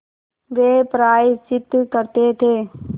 वे प्रायश्चित करते थे